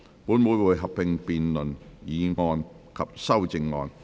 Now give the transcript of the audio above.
本會會合併辯論議案及修正案。